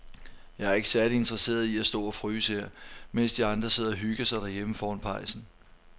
Jeg er ikke særlig interesseret i at stå og fryse her, mens de andre sidder og hygger sig derhjemme foran pejsen.